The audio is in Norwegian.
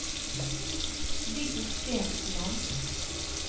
Viggo Stensland